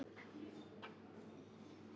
Dyrhólaey